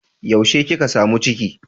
Yaushe kika samu ciki?